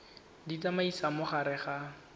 di tsamaisa mo gare ga